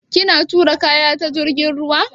Kina tura kaya ta jirgin ruwa?